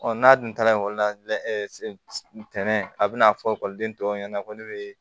n'a dun taara ekɔli la tɛnɛn a bɛna fɔ ekɔliden tɔw ɲɛna ko ne bɛ